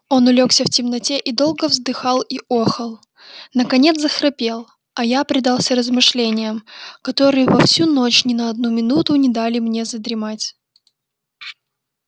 он улёгся в темноте и долго вздыхал и охал наконец захрапел а я предался размышлениям которые во всю ночь ни на одну минуту не дали мне задремать